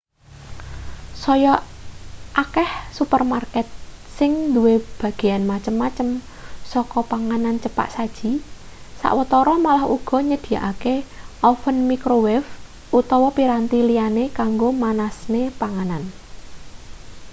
saya akeh supermarket sing duwe bagean macem-macem saka panganan cepak saji sawetara malah uga nyedhiyakake oven microwave utawa piranti liyane kanggo manasne panganan